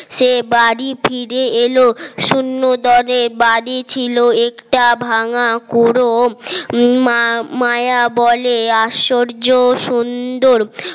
সে বাড়ি ফিরে এলো শূন্য দলে বাড়ি ছিল একটা ভাঙা কুরো মায়া বলে আশ্চর্য সুন্দর